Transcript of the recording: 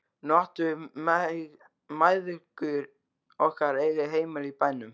Nú áttum við mæðgur okkar eigið heimili í bænum.